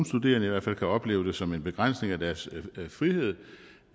studerende i hvert fald kan opleve det som en begrænsning af deres frihed